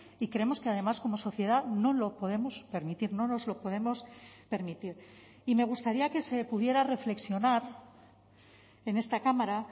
y creemos que además como sociedad no lo podemos permitir no nos lo podemos permitir y me gustaría que se pudiera reflexionar en esta cámara